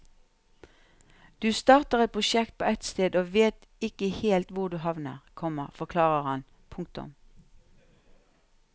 Du starter et prosjekt på ett sted og vet ikke helt hvor du havner, komma forklarer han. punktum